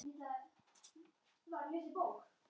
Nói var engum öðrum líkur.